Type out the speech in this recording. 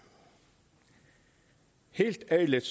helt ærligt